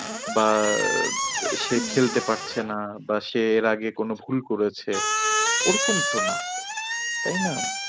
বা আহ সে খেলতে পারছে না। বা সে এর আগে কোনো ভুল করেছে ওরকম তো না তাই না।